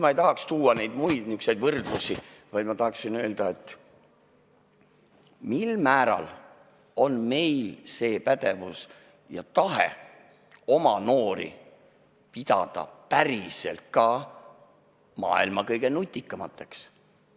Ma ei tahaks tuua muid võrdlusi, vaid ma tahan küsida, mil määral on meil seda pädevust ja tahet oma noori ka päriselt maailma kõige nutikamateks pidada.